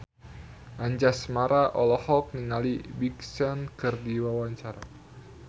Anjasmara olohok ningali Big Sean keur diwawancara